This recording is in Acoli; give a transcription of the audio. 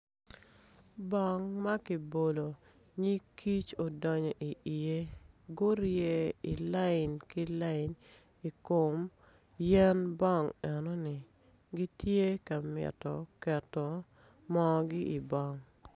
Bong ma kibolo nyig kic odonyo iye gure i lain ki lain i kom yen bong eno ni gitye ka mito keto moogi i bong